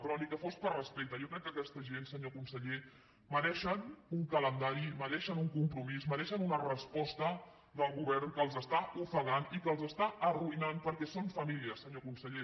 però ni que fos per respecte jo crec que aquesta gent senyor conseller mereixen un calendari mereixen un compromís mereixen una resposta del govern que els està ofegant i que els està arruïnant perquè són famílies senyor conseller